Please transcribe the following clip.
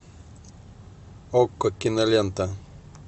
окко кинолента